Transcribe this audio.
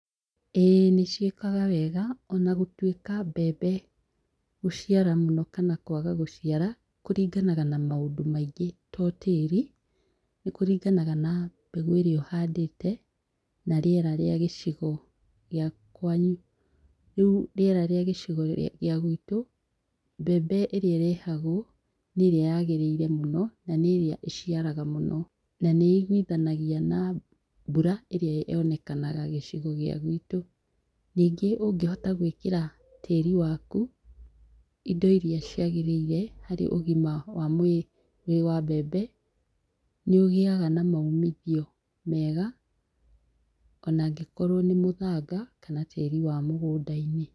Ĩĩ nĩciĩkaga wega onagũtuika mbembe gũciara mũno ona kwaga gũciara kũringanaga na maũndũ maingĩ to tĩri, nĩkũringanaga na mbegũ ĩria ũhandĩte na rĩera rĩa gĩcigo gĩa kwanyu. Rĩũ rĩera rĩa gia gicigo gĩa gwitũ mbembe ĩrĩa ĩrehagwo nĩ irĩa yagĩrĩire mũno na nĩirĩa ĩciaraga mũno na nĩiguithanagia na mbura ĩrĩa yonekanaga gĩcigo gĩa gwitũ nĩngĩ ũngĩhota gwĩkĩra tĩrĩ waku indo iria ciagĩrĩire harĩ ũgima wa mwĩrĩ wa mbembe nĩ ũgĩaga na maumithio mega onangĩkorwo nĩ mũthanga ona kana tĩrĩ wa mũgũndainĩ.